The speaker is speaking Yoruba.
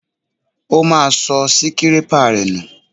Ó máa sọ síkirépà rẹ̀ nù